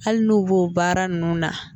Hali n'o b'o baara nunnu na.